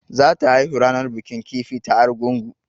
Za ta haihu ranar bikin kifi ta Argungu